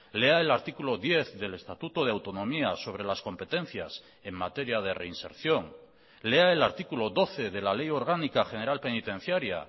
lea el artículo diez del estatuto de autonomía sobre las competencias en materia de reinserción lea el artículo doce de la ley orgánica general penitenciaria